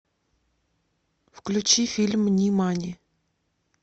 включи фильм нимани